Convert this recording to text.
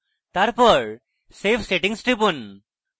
তারপর save settings টিপুন